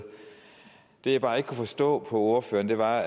det jeg bare ikke kunne forstå på ordføreren var